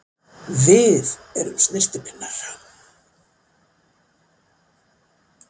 Við erum snyrtipinnar!